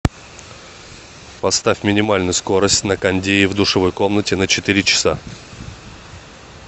поставь минимальную скорость на кондее в душевой комнате на четыре часа